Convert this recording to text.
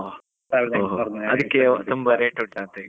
ಅದಕ್ಕೆ ತುಂಬಾ rate ಉಂಟಾ ಅಂತ ಈಗ?